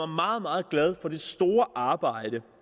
meget meget glad for det store arbejde